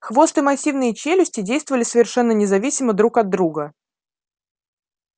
хвост и массивные челюсти действовали совершенно независимо друг от друга